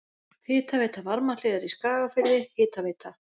Hitaveita Varmahlíðar í Skagafirði, Hitaveita